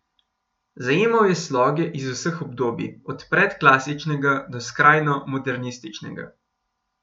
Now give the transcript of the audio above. Zajemal je sloge iz vseh obdobij, od predklasičnega do skrajno modernističnega.